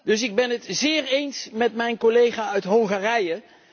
Dus ik ben het zeer eens met mijn collega uit Hongarije.